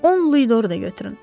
Bu Onlidor da götürün.